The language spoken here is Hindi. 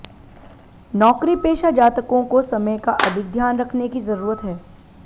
नौकरीपेशा जातकों को समय का अधिक ध्यान रखने की जरूरत है